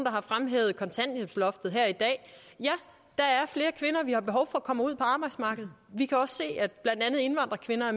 har fremhævet kontanthjælpsloftet her i dag ja der er flere kvinder som vi har behov for kommer ud på arbejdsmarkedet vi kan også se at blandt andet indvandrerkvinder er